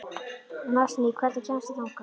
Nansý, hvernig kemst ég þangað?